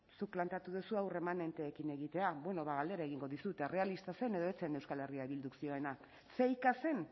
zuk planteatu duzu hau remanenteekin egitea bueno ba galdera egingo dizut errealista zen edo ez zen euskal herria bilduk zioena fakea zen